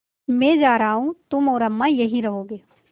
मैं जा रहा हूँ तुम और अम्मा यहीं रहोगे